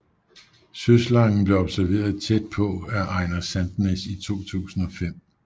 Søslangen blev observeret tæt på af Einar Sandnes i 2005